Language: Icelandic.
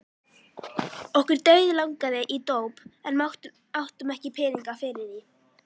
Okkur dauðlangaði í dóp en áttum ekki peninga fyrir því.